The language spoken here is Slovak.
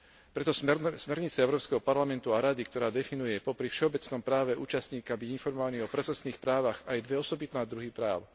Preto smernica Európskeho parlamentu a Rady, ktorá definuje popri všeobecnom práve účastníka byť informovaný o procesných právach, dáva aj dva osobitné druhy práv.